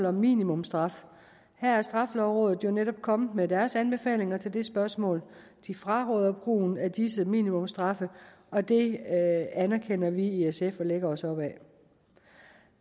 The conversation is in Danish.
om minimumsstraf her er straffelovrådet jo netop kommet med deres anbefalinger til det spørgsmål de fraråder brugen af disse minimumsstraffe og det anerkender vi i sf og lægger os op ad